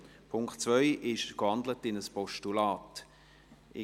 Der Punkt 2 ist in ein Postulat gewandelt.